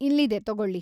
ಇಲ್ಲಿದೆ ತಗೊಳ್ಳಿ.